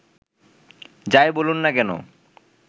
যাই বলুন না কেনো